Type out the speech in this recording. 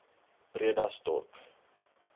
bredasdorp